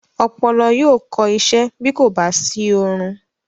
Ọpọlọ yóò kọ isẹ́ bí kò bá sí oorun.